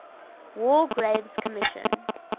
war graves commission